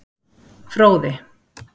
Fróði